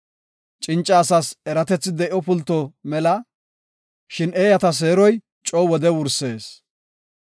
Cinca asas eratethi de7o pulto mela; shin eeyata seeroy coo wode wursees.